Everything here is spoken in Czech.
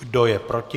Kdo je proti?